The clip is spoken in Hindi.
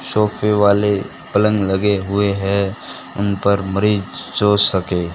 सोफे वाले पलंग लगे हुए हैं उन पर सो सके--